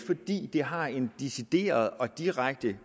fordi det har en decideret og direkte